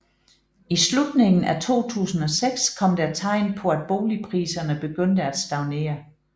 I slutningen af 2006 kom der tegn på at boligpriserne begyndte at stagnere